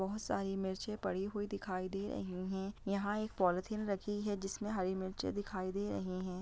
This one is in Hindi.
बहोत सारी मिर्च पड़ी हुई दिखाई दे रही है यहाँ एक पॉलिथीन रखी है जिसमें जिसमें हरी मिर्चें दिखाई दे रही हैं।